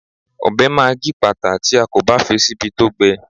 Ọbẹ̀ máa gípàtà tí a kò bá fi síbi tó gbẹ.